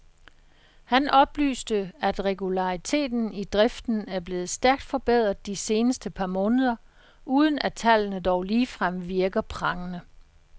Han oplyste, at regulariteten i driften er blevet stærkt forbedret de seneste par måneder, uden at tallene dog ligefrem virker prangende.